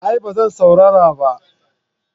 A'a ba zan saurara ba